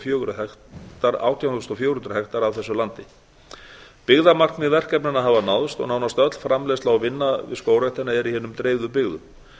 fjögur hundruð hektara af þessu landi byggðamarkmið verkefnanna hafa náðst og nánast öll framleiðsla og vinna við skógræktina er í hinum dreifðu byggðum